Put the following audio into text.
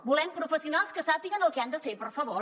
volem professionals que sàpiguen el que han de fer per favor